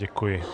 Děkuji.